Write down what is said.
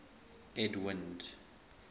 edwind